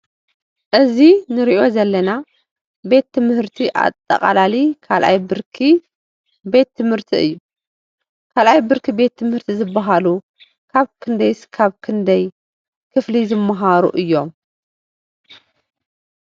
እዚ ንሪኦ ዘለና ቤት ትምህርቲ ኣጠቓላሊ ካልኣይ ብርኪ ቤት ትምህርቲ እዩ፡፡ ካልኣይ ብርኪ ቤት ትምህርቲ ዝበሃሉ ካብ ክንደይ እስካብ ክንደይ ክፍሊ ዝምህሩ እዮም?